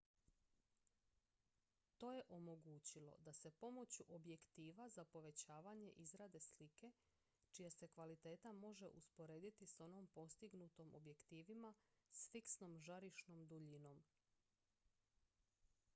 to je omogućilo da se pomoću objektiva za povećavanje izrade slike čija se kvaliteta može usporediti s onom postignutom objektivima s fiksnom žarišnom duljinom